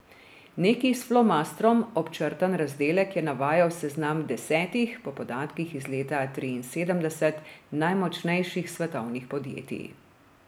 Neki s flomastrom občrtan razdelek je navajal seznam desetih, po podatkih iz leta triinsedemdeset najmočnejših svetovnih podjetij.